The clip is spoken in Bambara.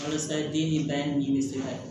Walasa den ni ba ni bɛ se ka